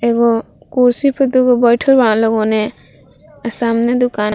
एगो कुर्सी पर दु गो बइठल बा लोगो ने अ सामने दुकान --